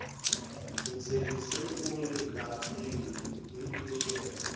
nithembise ukungaphinde nilenze